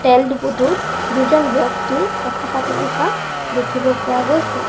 তেল ডিপুটোত দুজন ব্যক্তি কথা পাতি থকা দেখিব পোৱা গৈছে।